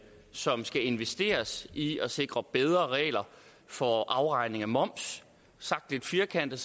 som skal investeres i at sikre bedre regler for afregning af moms sagt lidt firkantet